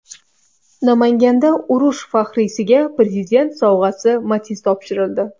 Namanganda urush faxriysiga Prezident sovg‘asi Matiz topshirildi.